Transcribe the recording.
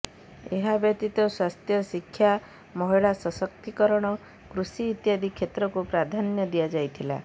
ଏହା ବ୍ୟତୀତ ସ୍ୱାସ୍ଥ୍ୟ ଶିକ୍ଷା ମହିଳା ସଶକ୍ତିକରଣ କୃଷି ଇତ୍ୟାଦି କ୍ଷେତ୍ରକୁ ପ୍ରଧାନ୍ୟ ଦିଆଯାଇଥିଲା